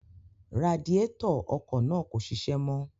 Radiétọ̀ ọkọ̀ náà kò ṣiṣẹ́ mọ́